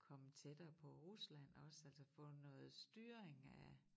Komme tættere på Rusland også altså få noget styring af